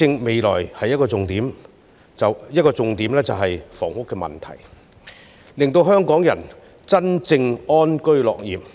未來施政的其中一個重點，是解決住屋問題，以讓香港人能真正安居樂業。